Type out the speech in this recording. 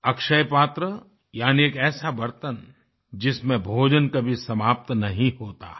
अक्षयपात्र यानि एक ऐसा बर्तन जिसमें भोजन कभी समाप्त नही होता है